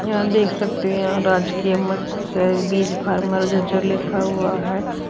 यहां देख सकते है यहां राजकीय मत्स्य बीज फॉर्मर लिखा हुआ है।